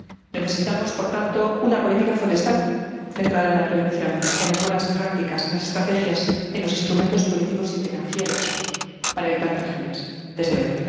Necesitamos por tanto una política forestal centrada en la prevención, en las buenas prácticas, en las estrategias, en los instrumentos políticos y financieros, para evitar tragedias, desde hoy.